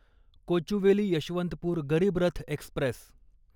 Kochuveli Yesvantpur Garib Rath Express